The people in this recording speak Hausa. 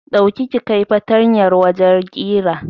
Dauki ka kai fatanyar wajen ƙira